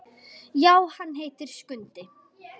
Já, hann heitir Skundi.